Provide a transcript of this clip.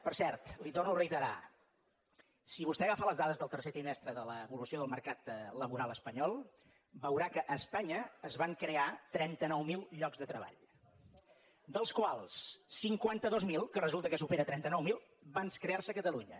per cert li ho torno a reiterar si vostè agafa les dades del tercer trimestre de l’evolució del mercat laboral espanyol veurà que a espanya es van crear trenta nou mil llocs de treball dels quals cinquanta dos mil que resulta que supera trenta nou mil van crear se a catalunya